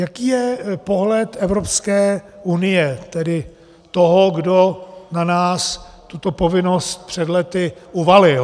Jaký je pohled Evropské unie, tedy toho, kdo na nás tuto povinnost před lety uvalil.